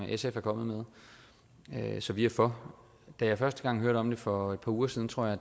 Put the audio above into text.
sf er kommet med så vi er for da jeg første gang hørte om det for et par uger siden tror jeg